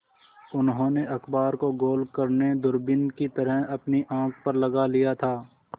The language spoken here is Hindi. उन्होंने अखबार को गोल करने दूरबीन की तरह अपनी आँख पर लगा लिया था